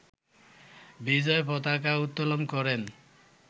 বিজয় পতাকা উত্তোলন করেন